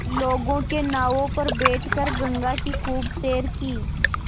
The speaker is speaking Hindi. लोगों के नावों पर बैठ कर गंगा की खूब सैर की